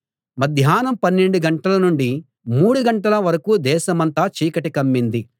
మధ్యాహ్నం పన్నెండు గంటల నుండి మూడు గంటల వరకూ దేశమంతా చీకటి కమ్మింది